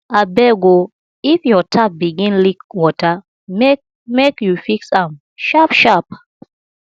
abeg o if your tap begin leak water make make you fix am sharpsharp